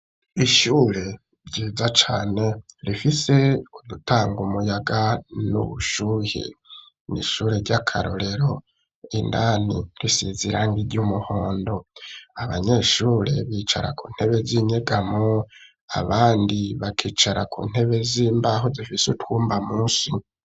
Ishure ryiza cane, rifise udutanga umuyaga, n'ubushuhe; ni ishure ry'akarorero, indani risize, irangi ry'umuhondo; abanyeshure, bicara ku ntebe z'inyegamo, abandi, bakicara ku ntebe z'imbaho, zifise utwumba munsi.